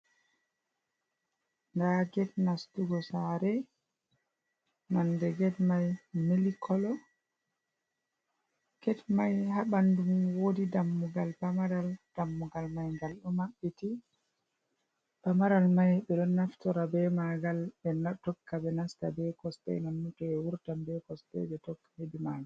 Nda get nastugo saare nonde get mai mili kolo. Get mai haa bandu mum wodi dammugal pamaral, dammugal mai ngal ɗo maɓɓiti, pamaral mai ɓe ɗo naftora be magal ɓe tokka ɓe nasta be kosɗe nonnon to ɓe wurtan ɓe kosɗe ɓe tokka hedi maga.